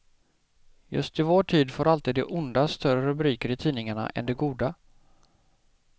Just i vår tid får alltid det onda större rubriker i tidningarna än det goda.